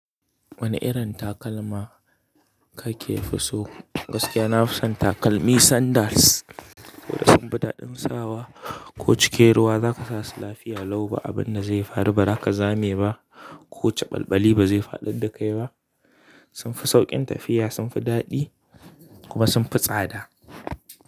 Wane irin takalma kake fi so? Gaskiya nafi son takalmi sandals, saboda sun fi dadin sawa ko cikin ruwa zaka sa su lafiya lau ba abinda zai faru ba, ba za ka zame ba ko caɓalɓali bazai faɗad da kai ba. Sunfi sauƙin tafiya, sunfi daɗi kuma sunfi tsada.